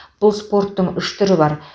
бұл спорттың үш түрі бар